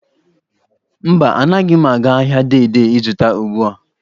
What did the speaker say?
Mba, anaghị m aga ahịa Dei Dei ịzụta ugbua.